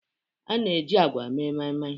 A na-eji agwa mee Mai-mai.